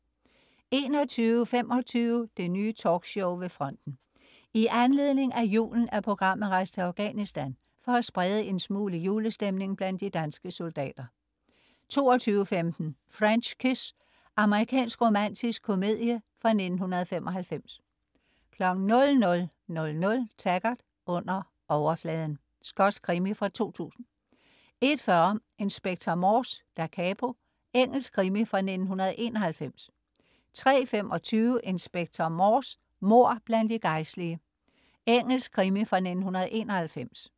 21.25 Det Nye Talkshow ved fronten. I anledning af julen er programmet rejst til Afghanistan for at sprede en smule julestemning blandt de danske soldater 22.15 French Kiss. Amerikansk romantisk komedie fra 1995 00.00 Taggart: Under overfladen. Skotsk krimi fra 2000 01.40 Inspector Morse: Da capo. Engelsk krimi fra 1991 03.25 Inspector Morse: Mord blandt de gejstlige. Engelsk krimi fra 1991